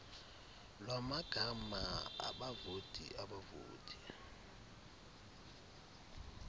lwamagama abavoti abavoti